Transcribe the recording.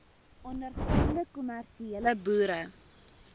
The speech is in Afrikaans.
ondergaande kommersiële boere